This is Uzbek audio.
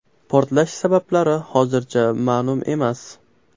Portlash sabablari hozircha ma’lum emas.